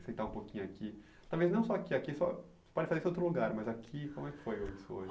Sentar um pouquinho aqui, talvez não só aqui, aqui só pode ser outro lugar, mas aqui, como é que foi isso hoje?